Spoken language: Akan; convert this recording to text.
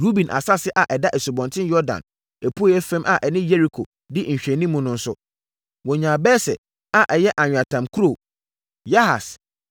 Ruben asase a ɛda Asubɔnten Yordan apueeɛ fam a ɛne Yeriko di nhwɛanim no nso, wɔnyaa Beser a ɛyɛ anweatam kuro, Yahas,